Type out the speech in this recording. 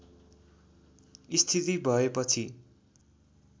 स्थिति भएपछि